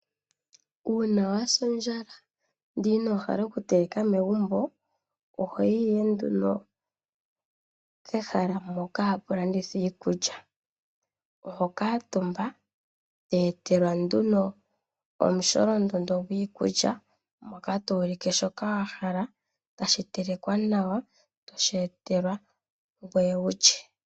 Uuna wasa ondjala ndele ino hala oku teleka megumbo ohoyi ihe nduno pehala mpoka hapu landithwa iikulya. Oho kuutumba, to etelwa nduno omusholondondo gwiikulya mbyoka to ulike shoka wa hala, tashi telekwa nawa, toshi etelwa, ngoye wulye.